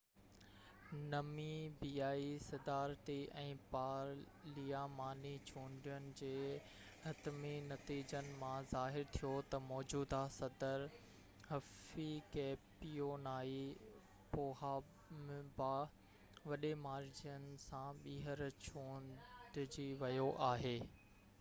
نميبيائي صدارتي ۽ پارلياماني چونڊين جي حتمي نتيجن مان ظاهر ٿيو ته موجوده صدر هفيڪيپيونائي پوهامبا وڏي مارجن سان ٻيهر چونڊجي ويو آهي